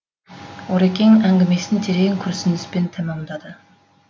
орекең әңгімесін терең күрсініспен тәмамдады